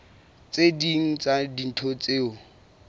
tse ding tsa dintho tseo